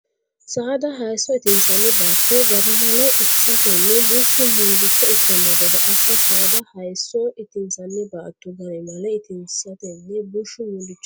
Saada hayisso itinsanni baatto garimale itisatenni bushshu mullicho ikkanno gede assa Saada hayisso itinsanni baatto garimale itisatenni bushshu mullicho ikkanno.